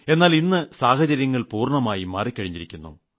എന്നാൽ ഇന്ന് സാഹചര്യങ്ങൾ പൂർണ്ണമായും മാറിമറിഞ്ഞിരിക്കുന്നു